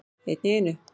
Einn í einu.